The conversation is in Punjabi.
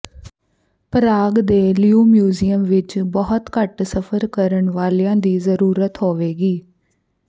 ਪ੍ਰਾਗ ਦੇ ਲਿਓ ਮਿਊਜ਼ੀਅਮ ਵਿਚ ਬਹੁਤ ਘੱਟ ਸਫ਼ਰ ਕਰਨ ਵਾਲਿਆਂ ਦੀ ਜ਼ਰੂਰਤ ਹੋਵੇਗੀ